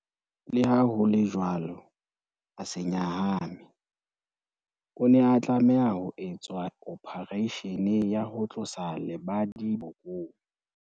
Leha ho le jwalo, a se nyahame. O ne a tlameha ho etswa ophareishene ya ho tlosa lebadi bokong.